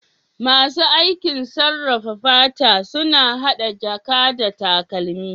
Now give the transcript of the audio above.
Masu aikin sarrafawa fata suna hada jaka da takalmi.